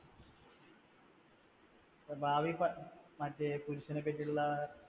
ഭാവി പ മറ്റേ പുരുഷനും പറ്റിയിട്ടുള്ള അഹ്